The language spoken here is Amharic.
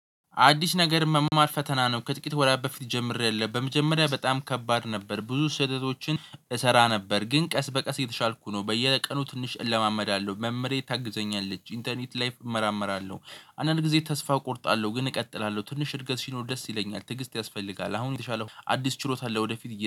አዲስ ነገር መማር ፈተና ነው ከጥቂት ወራት በፊት ጀምሬያለሁ በመጀመሪያ በጣም ከባድ ነበር ብዙ ስህተቶችን እሰራ ነበር ግን ቀስ በቀስ የተሻልኩ ነው። በየቀኑ ትንሽ እለማመዳለሁ መምህሬ ታግዘኛለች ኢንተርኔት ላይፍ እመራመራለሁ። አንዳንድ ጊዜ ተስፋ እቆርጣለሁ ግን እቀጥላለሁ ትንሽ እድገት ሲል ደስ ይለኛል ትዕግስት ያስፈልጋል። አሁን የተሻለ አዲስ ችሎታን ለወደፊት